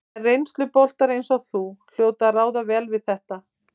En reynsluboltar eins og þú hljóta að ráða vel við þetta?